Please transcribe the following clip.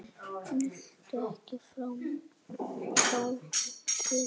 Viltu ekki fá þér mola?